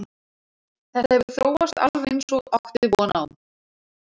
Þetta hefur þróast alveg eins og átti von á.